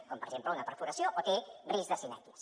com per exemple una perforació o té risc de sinèquies